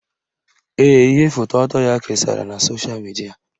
Ee, ihe foto ọtọ ya kesara na sosha midia